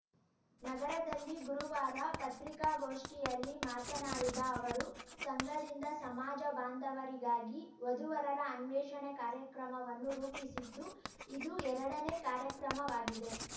ನಗರದಲ್ಲಿ ಗುರುವಾರ ಪತ್ರಿಕಾಗೋಷ್ಠಿಯಲ್ಲಿ ಮಾತನಾಡಿದ ಅವರು ಸಂಘದಿಂದ ಸಮಾಜ ಬಾಂಧವರಿಗಾಗಿ ವಧುವರರ ಅನ್ವೇಷಣೆ ಕಾರ್ಯಕ್ರಮವನ್ನು ರೂಪಿಸಿದ್ದು ಇದು ಎರಡನೇ ಕಾರ್ಯಕ್ರಮವಾಗಿದೆ